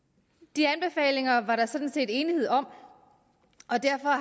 de anbefalinger var der sådan set enighed om og derfor har